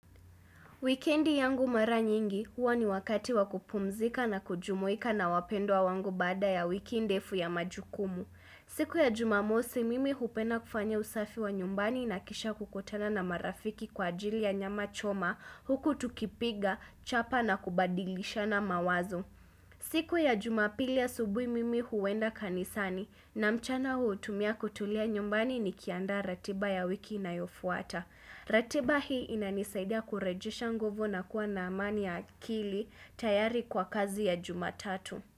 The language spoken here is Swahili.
Wikendi yangu mara nyingi, huwa ni wakati wakupumzika na kujumuika na wapendwa wangu baada ya wiki ndefu ya majukumu. Siku ya jumamosi, mimi hupenda kufanya usafi wa nyumbani na kisha kukutana na marafiki kwa ajili ya nyama choma, huku tukipiga, chapa na kubadilishana mawazo. Siku ya jumapili ya asubuhi, mimi huenda kanisani na mchana huutumia kutulia nyumbani ni kiandaa ratiba ya wiki inayofuata. Ratiba hii inanisaidia kurejesha nguvu na kuwa na amani ya akili tayari kwa kazi ya jumatatu.